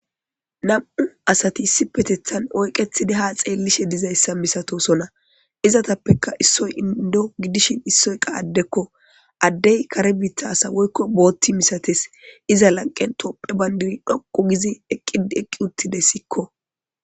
nam7u asati issi petethan oyqethidi ha xeellishe dizayssa misatosona izatappeka issoy indo gidishin issoyqa addekko addey kare biittha asawoykko bootti misates iza lanqen topphe bayndiri dhoqu gizi eqqidi eqqi uttide sikko